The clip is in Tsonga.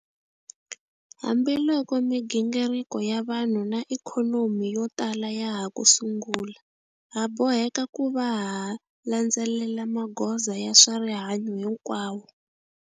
Hambiloko migingiriko ya vanhu na ikhonomi yo tala ya ha ku sungula, ha boheka ku va ha landzelela magoza ya swa rihanyu hinkwawo.